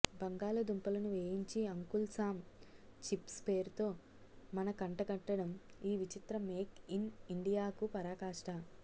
బంగాళాదుంపలను వేయించి uncle Sam chips పేరుతో మనకంటగట్టడం ఈ విచిత్ర మేక్ ఇన్ ఇండియాకు పరాకాష్ట